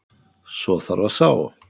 Svo þarf að sá.